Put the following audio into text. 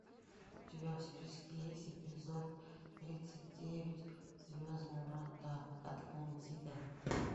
у тебя в списке есть эпизод тридцать девять звездные врата атлантида